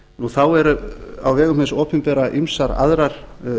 þá eru á vegum hins opinbera ýmsar aðrar